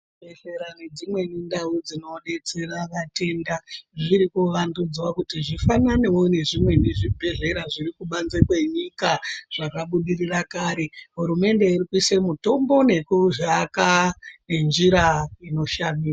Zvibhedhlera nedzimweni ndau dzinobetsera vatenda zvrikuvandudzwa kuti zvifananewo nezvimweni zvibhedhlera zvirikubanze kwenyika zvakabudirira kare hurumende irikuise mitombo nekuzviaka nenjira inoshamisa.